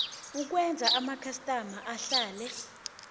ukwenza amakhastama ahlale